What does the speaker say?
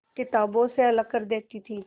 किताबों से अलग कर देती थी